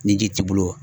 Ni ji t'i bolo